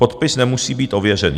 Podpis nemusí být ověřený.